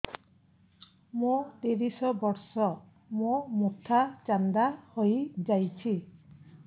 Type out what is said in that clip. ମୋ ତିରିଶ ବର୍ଷ ମୋ ମୋଥା ଚାନ୍ଦା ହଇଯାଇଛି